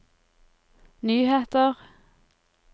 nyheter